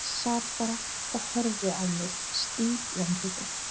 Sat bara og horfði á mig stíf í andliti.